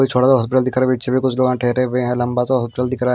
छोटा सा हॉस्पिटल दिख रहा है बीच में कुछ लोग ठहरे हुए हैं लंबा सा हॉस्पिटल दिख रहा है।